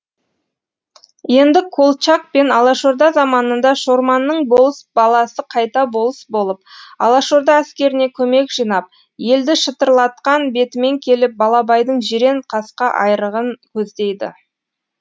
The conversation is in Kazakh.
енді колчак пен алашорда заманында шорманның болыс баласы қайта болыс болып алашорда әскеріне көмек жинап елді шытырлатқан бетімен келіп балабайдың жирен қасқа айрығын көздейді